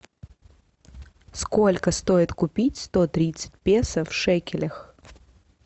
сколько стоит купить сто тридцать песо в шекелях